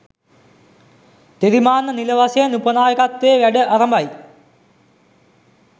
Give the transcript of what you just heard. තිරිමාන්න නිල වශයෙන් උප නාකයත්වයේ වැඩ අරඹයි